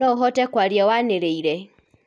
noũhote kwaria waniriire